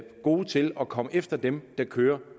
gode til at komme efter dem der kører